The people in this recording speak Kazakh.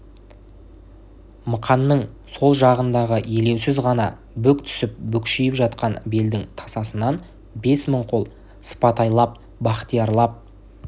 мықанның сол жағындағы елеусіз ғана бүк түсіп бүкшиіп жатқан белдің тасасынан бес мың қол сыпатайлап бахтиярлап